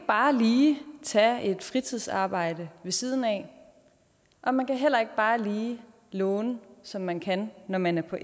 bare lige tage et fritidsarbejde ved siden af og man kan heller ikke bare lige låne som man kan når man er på